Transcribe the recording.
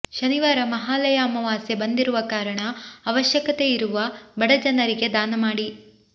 ಶನಿವಾರ ಮಹಾಲಯ ಅಮಾವಾಸ್ಯೆ ಬಂದಿರುವ ಕಾರಣ ಅವಶ್ಯಕತೆಯಿರುವ ಬಡ ಜನರಿಗೆ ದಾನ ಮಾಡಿ